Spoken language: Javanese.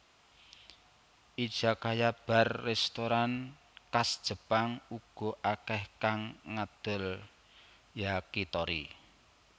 Izakaya bar restoran khas Jepang uga akèh kang ngadol Yakitori